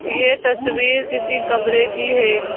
यह तस्वीर किसी कमरे की है।